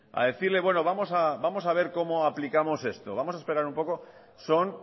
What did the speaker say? a decirle bueno vamos a ver cómo aplicamos esto vamos a esperar un poco son